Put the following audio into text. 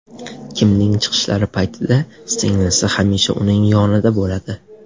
Kimning chiqishlari paytida singlisi hamisha uning yonida bo‘ladi.